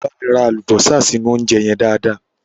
Wá bámi rẹ́ àlùbọ́sà sínú óúnjẹ yẹn dáadáa.